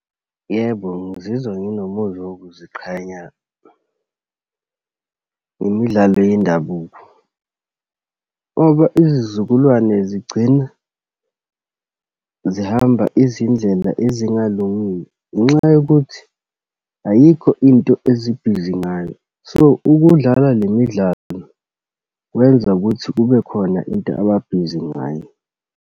Yebo, ngizizwa nginomuzwa wokuziqhenya ngemidlalo yendabuko, ngoba izizukulwane zigcina zihamba izindlela ezingalungile ngenxa yokuthi ayikho into ezibhizi ngayo. So, ukudlala le midlalo kwenza ukuthi kube khona into ababhizi ngayo.